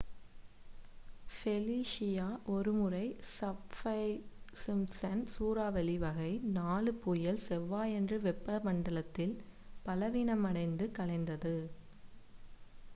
Felicia ஒருமுறை Saffir Simpson சூறாவளி வகை 4 புயல் செவ்வாயன்று வெப்பமண்டலத்தில் பலவீனமடைந்து கலைந்தது